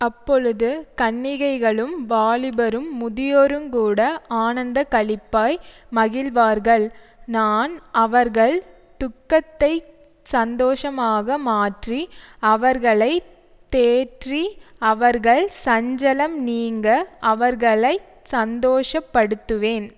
அப்பொழுது கன்னிகைகளும் வாலிபரும் முதியோருங்கூட ஆனந்தக்களிப்பாய் மகிழுவார்கள் நான் அவர்கள் துக்கத்தைச் சந்தோஷமாக மாற்றி அவர்களை தேற்றி அவர்கள் சஞ்சலம் நீங்க அவர்களை சந்தோஷப்படுத்துவேன்